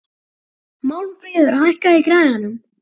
Málmfríður, hækkaðu í græjunum.